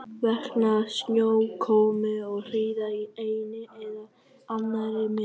Vegna snjókomu og hríðar í einni eða annarri mynd.